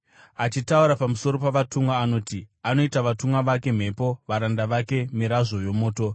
Achitaura pamusoro pavatumwa anoti, “Anoita vatumwa vake mhepo, varanda vake mirazvo yomoto.”